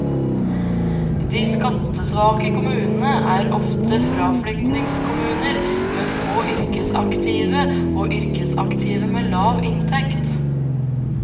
De skattesvake kommunene er ofte fraflyttingskommuner med få yrkesaktive og yrkesaktive med lav inntekt.